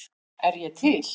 Er ég til?